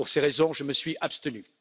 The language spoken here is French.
Pour ces raisons, je me suis abstenu.